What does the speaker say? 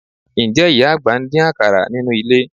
Ǹjẹ́ ìyá àgbà ń dín àkàrà nínú ilé?